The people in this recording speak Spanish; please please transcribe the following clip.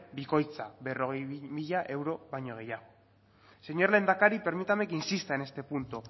bikoitza berrogei mila euro baino gehiago señor lehendakari permítame que insista en este punto